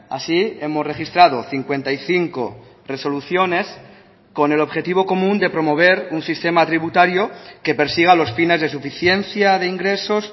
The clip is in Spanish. así hemos registrado cincuenta y cinco resoluciones con el objetivo común de promover un sistema tributario que persiga los fines de suficiencia de ingresos